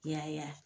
Yaya